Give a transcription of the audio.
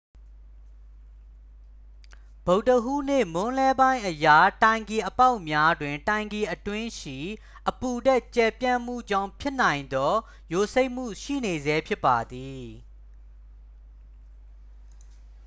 ဗုဒ္ဓဟူးနေ့ မွန်းလွဲပိုင်းအရ တိုင်ကီအပေါက်များတွင် တိုင်ကီအတွင်းရှိ အပူဓာတ် ကျယ်ပြန့်မှုကြောင့် ဖြစ်နိုင်သော ယိုစိမ့်မှု ရှိနေဆဲဖြစ်ပါသည်